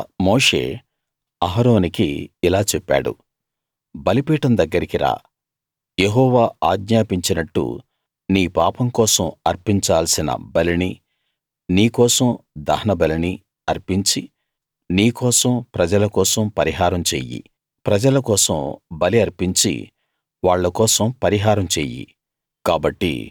తరువాత మోషే అహరోనుకి ఇలా చెప్పాడు బలిపీఠం దగ్గరికి రా యెహోవా ఆజ్ఞాపించినట్టు నీ పాపం కోసం అర్పించాల్సిన బలినీ నీ కోసం దహనబలినీ అర్పించి నీ కోసం ప్రజల కోసం పరిహారం చెయ్యి ప్రజల కోసం బలి అర్పించి వాళ్ళ కోసం పరిహారం చెయ్యి